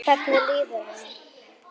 Hvernig líður henni?